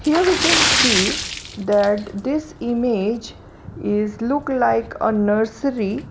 here we can see that this image is look like a nursery.